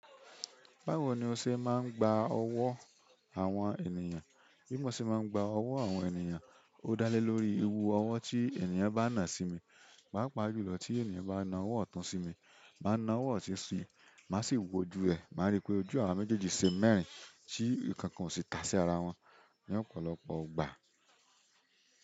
Bawon ni o ṣe máa ń gba owó àwọn ènìyàn. Bi mo ṣe máa ń gba owó àwọn ènìyàn ó dá lelori irú àwọn tí ènìyàn bá na sí mi pàápàá jùlọ tí ènìyàn bá nà ọwọ́ ọ̀tún sí mi, má nà ọwọ́ òsì sí, máa sì wojú ojú ẹ̀. Má rí pé ojú àwa méjèèjì ṣe mẹ́rin, tí nkankan ò sì ta se ara wọn ní ọ̀pọ̀lọpọ̀ ìgbà.